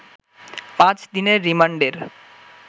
পাঁচ দিনের রিমান্ডের